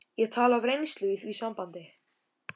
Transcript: Ég tala af reynslu í því sambandi.